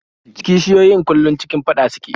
Kishiyoyin kullum cikin faɗa suke